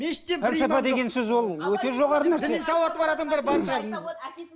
пәлсапа деген сөз ол өте жоғары нәрсе діни сауаты бар адамдар бар шығар